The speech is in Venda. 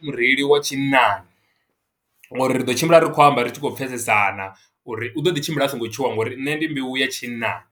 Mureili wa tshinnani ngo uri ri ḓo tshimbila ri khou amba, ri tshi khou pfesesana uri u ḓo ḓi tshimbila a songo tshuwa, ngo uri nṋe ndi mbeu ya tshinnani.